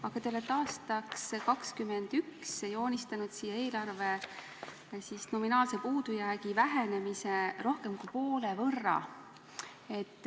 Aga te olete aastaks 2021 joonistanud siia eelarve nominaalse puudujäägi vähenemise rohkem kui poole võrra.